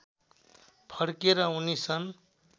फर्के र उनी सन्